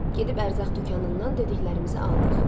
Gedib ərzaq dükanından dediklərimizi aldıq.